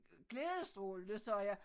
Glædestrålende sagde jeg